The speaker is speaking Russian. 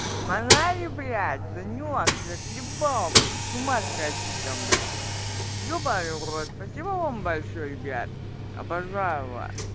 заманали блядь санёк ты заколебал блядь с ума сходить там блядь ёбаный в рот спасибо вам большое ребят обожаю вас